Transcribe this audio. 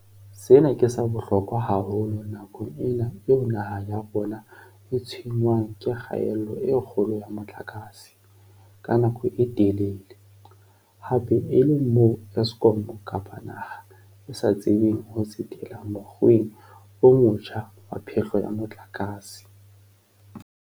Sena ke sa bohlokwa haholo nakong ena eo naha ya rona e tshwenngwang ke kgaello e kgolo ya motlakase, ka nako e telele, hape e le moo Eskom kapa naha e sa tsebeng ho tsetela mokgweng o motjha wa phehlo ya motlakase.